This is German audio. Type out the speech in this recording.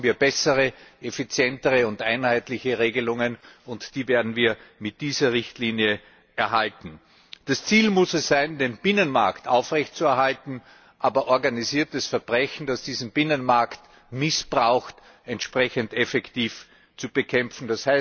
Hier brauchen wir bessere, effizientere und einheitliche Regelungen, und die werden wir mit dieser Richtlinie erhalten. Das Ziel muss darin bestehen, den Binnenmarkt aufrecht zu erhalten, aber organisiertes Verbrechen, das diesen Binnenmarkt missbraucht, entsprechend effektiv zu bekämpfen.